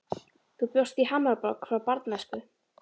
Þú bjóst í Hamborg frá barnæsku.